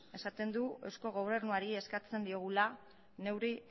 esaten du eusko gobernuari eskatzen diogula neurri